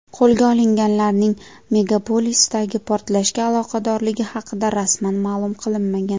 Qo‘lga olinganlarning megapolisdagi portlashga aloqadorligi haqida rasman ma’lum qilinmagan.